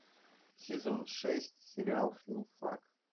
сезон шесть сериал филфак